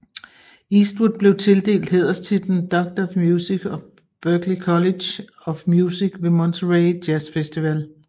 Eastwood blev tildelt hæderstitlen Doctor of Music af Berklee College of Music ved Monterey Jazz Festival